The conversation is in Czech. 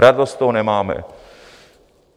Radost z toho nemáme.